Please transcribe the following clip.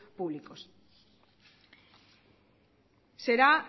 públicos